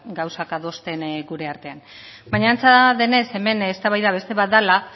gauzak adosten gure artean baina antza denez hemen eztabaida beste bat dela